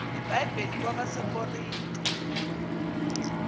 ibhayibhile kwabase korinte